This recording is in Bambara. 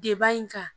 Deba in kan